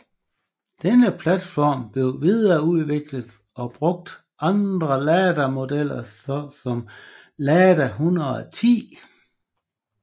Denne platform blev videreudviklet og brugt andre Lada modeller så som Lada 110